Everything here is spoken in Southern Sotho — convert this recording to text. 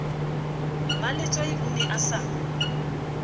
mmaletswai o ne a sa